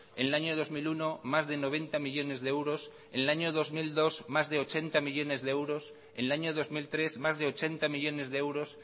en el año dos mil uno más de noventa millónes de euros en el año dos mil dos más de ochenta millónes de euros en el año dos mil tres más de ochenta millónes de euros